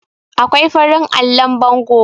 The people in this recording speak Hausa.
akwai farin allon bango